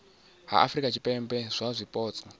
ha afurika tshipembe kha zwipotso